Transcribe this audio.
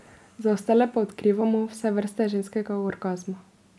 Za ostale pa odkrivamo vse vrste ženskega orgazma.